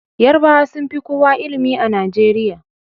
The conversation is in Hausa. Yarabawa sun fi kowa ilimi a Najeriya